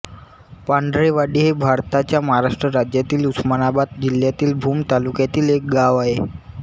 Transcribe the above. पांढरेवाडी हे भारताच्या महाराष्ट्र राज्यातील उस्मानाबाद जिल्ह्यातील भूम तालुक्यातील एक गाव आहे